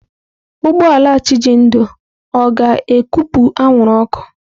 Ụgbọ ala Chijindu ọ ga-ekupụ anwụrụ ọkụ?